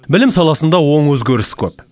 білім саласында оң өзгеріс көп